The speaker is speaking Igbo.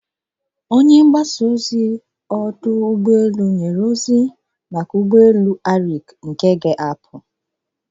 Onye mgbasa ozi ọdụ ụgbọ elu nyere ozi maka ụgbọ elu nke ga-ahapụ bụ ndị Arik Airline.